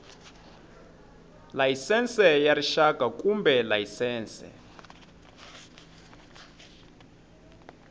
layisense ya rixaka kumbe layisense